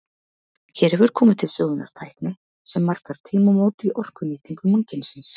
Hér hefur komið til sögunnar tækni sem markar tímamót í orkunýtingu mannkynsins.